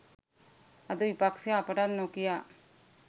අද විපක්ෂය අපටත් නොකියා